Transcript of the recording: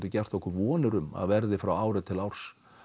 gert okkur vonir um að verði frá ári til árs